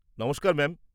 নমস্কার ম্যাম।